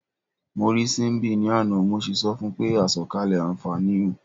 Mo rí Síḿbì ní àná, mo sì sọ fun pé "àsọ̀kalẹ̀ àǹfààní o".